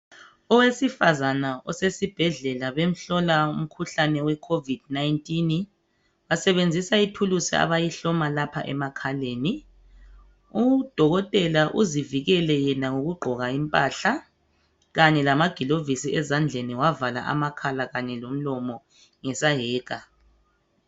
Owesifazane osesibhedlela bemhlola umkhuhlane we covid 19 basebenzisa ithulusi abayihloma lapha emakhaleni udokotela uzivikele yena ngokugqoka impahla kanye lamagilovisi ezandleni wavala amakhala kanye lomlomo ngesayeka